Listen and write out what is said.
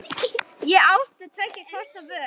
Ég átti tveggja kosta völ.